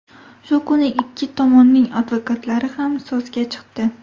Shu kuni ikki tomonning advokatlari ham so‘zga chiqdi.